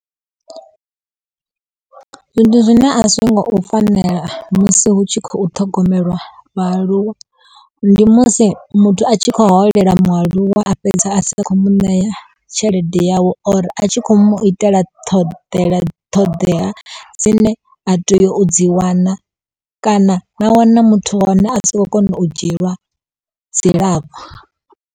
Ndi zwine a zwi ngo u fanela musi hu tshi khou ṱhogomelwa vhaaluwa ndi musi muthu a tshi kho holela mualuwa a fhedza a sa kho mu ṋea tshelede yawe or a tshi khou mu itela ṱhoḓela ṱhoḓea dzine a teyo u dzi wana kana na wana muthu wa hone a si khou kona u dzhielwa dzilafho.